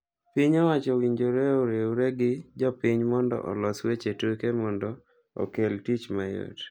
Piny owacho owinjore oriwre gi jpiny mondo olos weche tuke duto mondo okel tich mayot.